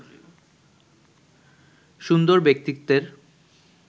সুন্দর ব্যক্তিত্বের